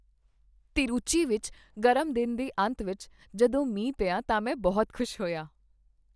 ਤਿਰੂਚੀ ਵਿੱਚ ਗਰਮ ਦਿਨ ਦੇ ਅੰਤ ਵਿੱਚ ਜਦੋਂ ਮੀਂਹ ਪਿਆ ਤਾਂ ਮੈ ਬਹੁਤ ਖ਼ੁਸ਼ ਹੋਇਆ।